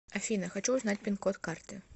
афина хочу узнать пин код карты